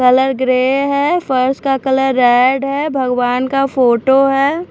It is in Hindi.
कलर ग्रे है फर्श का कलर रेड है भगवान का फोटो है।